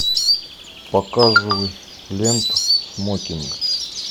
показывай ленту смокинг